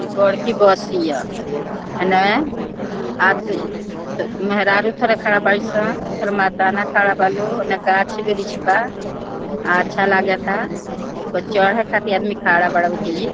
इ बड़की बस ये एने आद मेहरारू थोड़ा खड़ा बा इ सब थोड़ा मर्दाना खड़ा बा लो औने गाछ वृक्ष बा अच्छा लगाता ओय पर चढ़े खातिर आदमी खड़ा बा बुझी।